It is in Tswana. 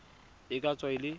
e ka tswa e le